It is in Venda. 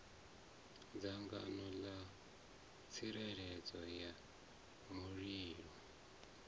dzangano ḽa tsireledzo ya mulilo